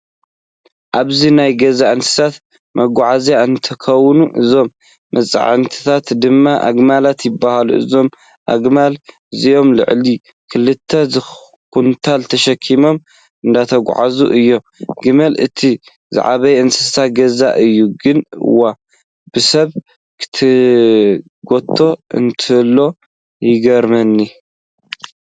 ኣብዚ ናይ ገዛ እንስሳት መጉዓዝያ እንትከውን፤ እዞም መፅዕኛታት ድማ ኣግማል ይበሃሉ ። እዞም ኣግማል እዚኦም ልዕሊ 2ተ ኹንታል ተሸኪሞም እንዳተጓዓዓዙ እዮም። ግመል እቲ ዝዓበየ እንስሳ ገዛ እዩ፤ ግን ዋየ! ብሰብ ክጉተት እንተሎ ይገርመኒ።